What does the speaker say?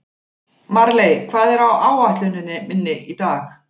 Marley, hvað er á áætluninni minni í dag?